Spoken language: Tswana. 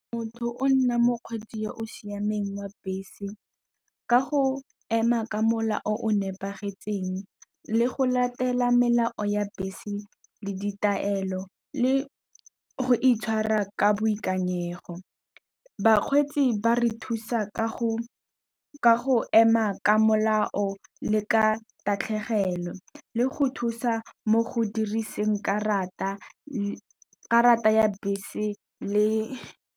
Motho o nna mokgweetsi yo o siameng wa bese ka go ema ka molao o nepagetseng. Le go latela melao ya bese le ditaelo le go itshwara ka boikanyego, bakgweetsi ba re thusa ka go ema ka molao le ka tatlhegelo, le go thusa mo go diriseng karata ya bese le .